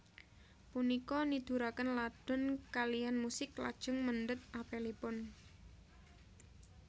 Punika niduraken Ladon kaliyan musik lajeng mendhet apelipun